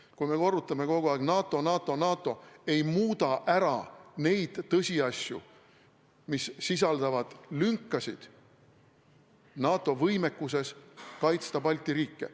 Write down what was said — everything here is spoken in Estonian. " See, kui me korrutame kogu aeg "NATO, NATO, NATO", ei muuda ära neid tõsiasju, mis sisaldavad lünkasid NATO võimekuses kaitsta Balti riike.